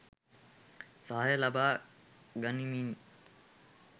සහාය ලබා ගනිමින්,